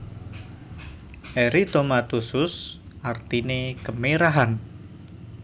Eritomatosus artine kemerahan